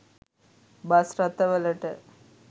bus රථවලට